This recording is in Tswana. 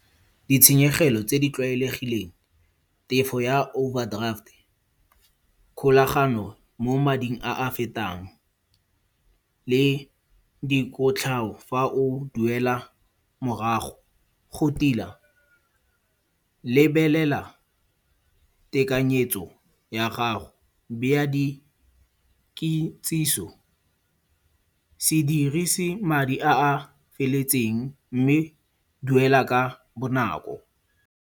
Ditshenyegelo tse di tlwaelegileng, tefo ya overdraft-e, kgolagano mo mading a a fetang le dikotlhao fa o duela morago. Go tila, lebelela tekanyetso ya gago. Beya dikitsiso. Se dirise madi a a felletseng mme duela ka bonako.